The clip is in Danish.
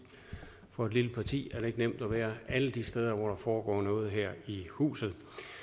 for et lille parti er det ikke nemt at være alle de steder hvor der foregår noget her i huset